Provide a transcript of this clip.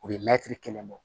U bɛ mɛtiri kelen bɔ